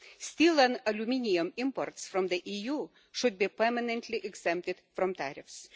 Steel and aluminium imports from the EU should be permanently exempted from tariffs.